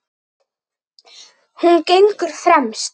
Hún gengur fremst.